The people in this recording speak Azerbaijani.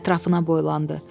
Ətrafına boylandı.